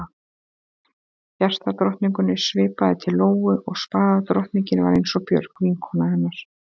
Hjartadrottningunni svipaði til Lóu og spaðadrottningin var eins og Björg, vinkona hennar.